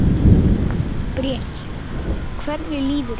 Breki: Hvernig líður þér?